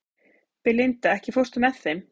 Belinda, ekki fórstu með þeim?